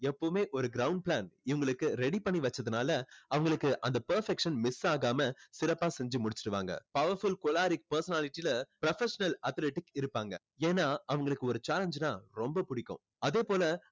எப்பவுமே ஒரு ground plan இவங்களுக்கு ready பண்ணி வச்சதுனால அவங்களுக்கு அந்த perfection miss ஆகாம சிறப்பா செஞ்சு முடிச்சிடுவாங்க. powerful choleric personality ல professional athletics இருப்பாங்க ஏன்னா அவங்களுக்கு ஒரு challenge னா ரொம்ப பிடிக்கும். அதே போல